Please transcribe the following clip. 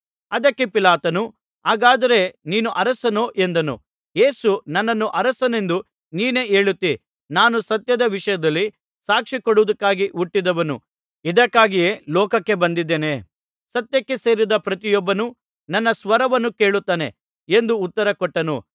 ಅದಕ್ಕೆ ಪಿಲಾತನು ಹಾಗಾದರೆ ನೀನು ಅರಸನೋ ಎಂದನು ಯೇಸು ನನ್ನನ್ನು ಅರಸನೆಂದು ನೀನೇ ಹೇಳುತ್ತೀ ನಾನು ಸತ್ಯದ ವಿಷಯದಲ್ಲಿ ಸಾಕ್ಷಿ ಕೊಡುವುದಕ್ಕಾಗಿ ಹುಟ್ಟಿದವನು ಇದಕ್ಕಾಗಿಯೇ ಲೋಕಕ್ಕೆ ಬಂದಿದ್ದೇನೆ ಸತ್ಯಕ್ಕೆ ಸೇರಿದ ಪ್ರತಿಯೊಬ್ಬನು ನನ್ನ ಸ್ವರವನ್ನು ಕೇಳುತ್ತಾನೆ ಎಂದು ಉತ್ತರಕೊಟ್ಟನು